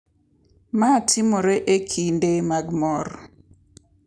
Ma timore e kinde mag mor.